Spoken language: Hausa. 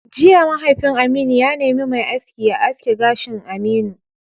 Jiya, mahaifin Aminu ya nemi mai aski ya aske gashin Aminu!